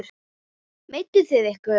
Meidduð þið ykkur?